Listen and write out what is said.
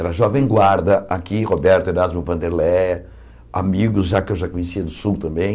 Era jovem guarda aqui, Roberto Erasmo Vanderléia, amigos já que eu já conhecia do Sul também.